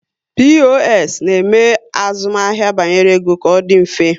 POS na eme azụmahịa banyere ego ka ọ dị mfe